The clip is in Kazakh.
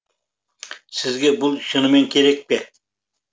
сізге бұл шынымен керек пе